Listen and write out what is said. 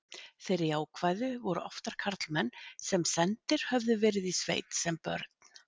þeir jákvæðu voru oftar karlmenn sem sendir höfðu verið í sveit sem börn